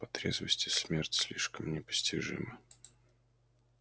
по трезвости смерть слишком непостижима